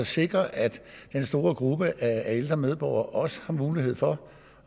sikre at den store gruppe af ældre medborgere også har mulighed for